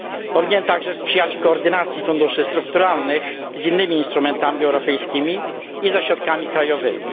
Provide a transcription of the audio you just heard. Powinien także sprzyjać koordynacji funduszy strukturalnych z innymi instrumentami europejskim i ze środkami krajowymi.